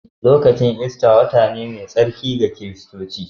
Lokacin Ista wata ne mai tsarki ga Kiristoci.